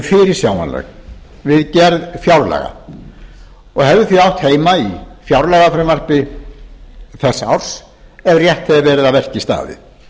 fyrirsjáanleg við gerð fjárlaga og hefði því átt heima í fjárlagafrumvarpi þess árs ef rétt hefði verið að verki staðið